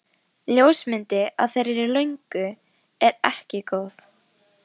Ljósmyndin af þeirri löngu er ekki góð.